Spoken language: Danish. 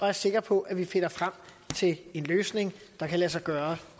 er sikker på at vi finder frem til en løsning der kan lade sig gøre